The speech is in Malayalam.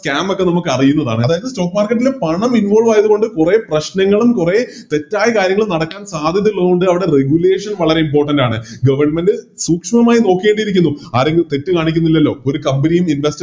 Camp ഒക്കെ നമുക്കറിയുന്നതാണ് അതായതിന് Stock market ല് പണം Involve ആയത്കൊണ്ട് കുറെ പ്രശ്നങ്ങളും കുറെ തെറ്റായ കാര്യങ്ങളും നടക്കാൻ സാധ്യതയുള്ളത് കൊണ്ട് അവിടെ Regulation വളരെ Important ആണ് Government സൂക്ഷ്മമായി നോക്കേണ്ടിയിരിക്കുന്നു ആരെങ്കിലും തെറ്റ് കാണിക്കുന്നില്ലല്ലോ ഒരു Company യും